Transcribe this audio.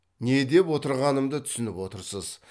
не деп отырғанымды түсініп отырсыз